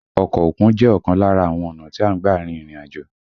Ọkọ òkun jẹ́ ọ̀kan lára àwọn ọ̀nà tí a ń gbà rin ìrìn àjò